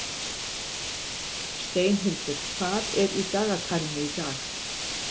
Steinhildur, hvað er í dagatalinu í dag?